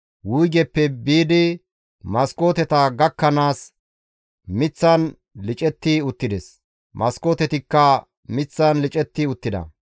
wuygeppe biidi maskooteta gakkanaas, miththan licetti uttides; maskootetikka miththan licetti uttida.